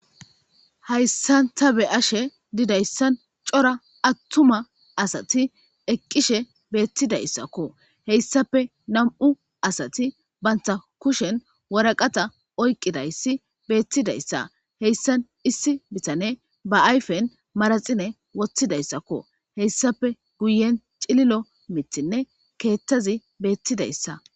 Hayissan taa be'ashshe dizayi cora atuma asati eqishe bitizayidakko heyissappe nam''u asati banita kushshenni waraqata oyikidayisa bettizayissa hessanni issi bitaneyi bee ayiffenni maraxire woththidayissakko heyissappe guyenni cilili'o miththinne keththazzi bettizayissa.